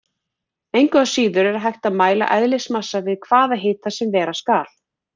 Engu að síður er hægt að mæla eðlismassa við hvaða hita sem vera skal.